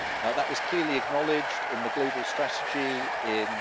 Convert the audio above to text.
That was clearly acknowledged in the global strategy in